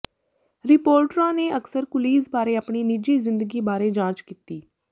ਰਿਪੋਰਟਰਾਂ ਨੇ ਅਕਸਰ ਕੁਲੀਜ਼ ਬਾਰੇ ਆਪਣੀ ਨਿੱਜੀ ਜ਼ਿੰਦਗੀ ਬਾਰੇ ਜਾਂਚ ਕੀਤੀ